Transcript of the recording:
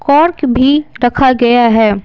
Pork भी रखा गया है।